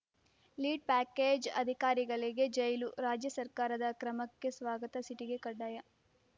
lead ಪ್ಯಾಕೇಜ್‌ಅಧಿಕಾರಿಗಳಿಗೆ ಜೈಲು ರಾಜ್ಯ ಸರ್ಕಾರದ ಕ್ರಮಕ್ಕೆ ಸ್ವಾಗತ ಸಿಟಿಗೆ ಕಡ್ಡಾಯ